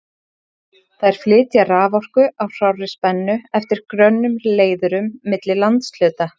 Þær flytja raforku á hárri spennu eftir grönnum leiðurum milli landshluta.